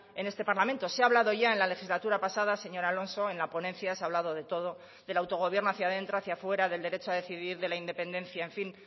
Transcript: en este parlamento se ha hablado ya en la legislatura pasada señor alonso en la ponencia se ha hablado de todo del autogobierno hacia dentro hacia fuera del derecho a decidir de la independencia en fin